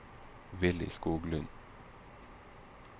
Willy Skoglund